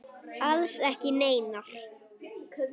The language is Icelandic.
Alls ekki neinar.